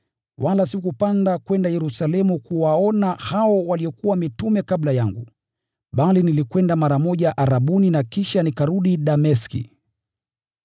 wala sikupanda kwenda Yerusalemu kuwaona hao waliokuwa mitume kabla yangu, bali nilikwenda mara moja Arabuni na kisha nikarudi Dameski.